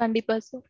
கண்டிப்பா sir.